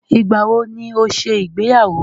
Ìgbàwo ni ó ṣe ìgbéyàwó?